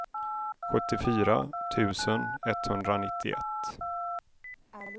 sjuttiofyra tusen etthundranittioett